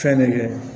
Fɛn nege